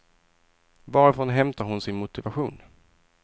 Varifrån hämtar hon sin motivation?